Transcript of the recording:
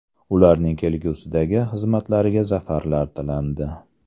Ularning kelgusidagi xizmatlariga zafarlar tilandi.